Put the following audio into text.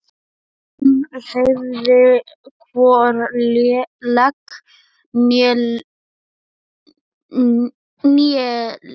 Jón hreyfði hvorki legg né lið.